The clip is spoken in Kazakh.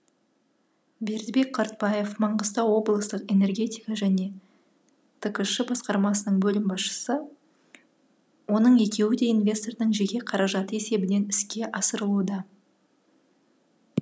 бердібек қартбаев маңғыстау облыстық энергетика және ткш басқармасының бөлім басшысы оның екеуі де инвестордың жеке қаражаты есебінен іске асырылуда